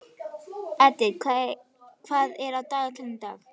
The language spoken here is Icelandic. Edith, hvað er á dagatalinu í dag?